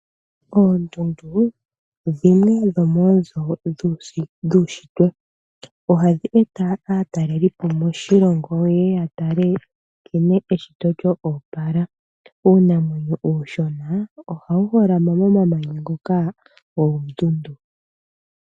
Oondundu dhimwe dhomoonzo dhuushitwe. Ohadhi eta aatalelipo moshilongo yeye ya tale nkene eshito nkene lyo opala. Uunamwenyo uushona, ohawu holama momamanya ngoka goondundu.